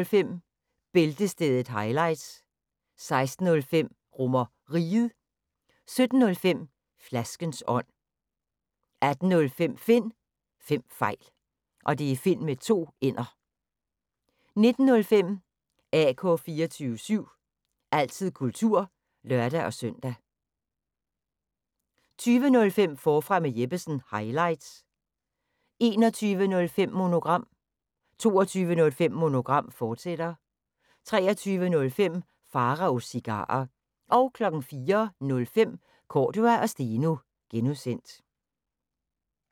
15:05: Bæltestedet – highlights 16:05: RomerRiget 17:05: Flaskens ånd 18:05: Finn Fem Fejl 19:05: AK 24syv – altid kultur (lør-søn) 20:05: Forfra med Jeppesen – highlights 21:05: Monogram 22:05: Monogram, fortsat 23:05: Pharaos Cigarer 04:05: Cordua & Steno (G)